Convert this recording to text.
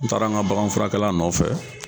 N taara n ka bagan furakɛla nɔfɛ.